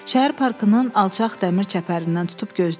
Şəhər parkının alçaq dəmir çəpərindən tutub gözlədi.